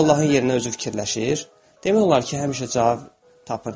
Sonra Allahın yerinə özü fikirləşir, demək olar ki, həmişə cavab tapırdı.